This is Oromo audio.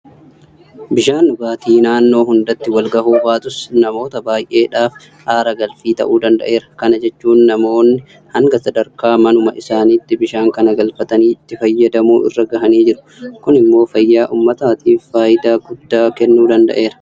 Bishaan dhugaatii naannoo hundatti walgahuu baatus namoota baay'eedhaaf aara galfii ta'uu danda'eera. Kana jechuun namoonni hanga sadarkaa manuma isaaniitti bishaan kana galfatanii itti fayyadamuu irra gahanii jiru. Kun immoo fayyaa uummataatiif faayidaa guddaa kennuu danda'eera.